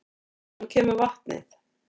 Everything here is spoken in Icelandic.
Hvaðan kemur vatnið?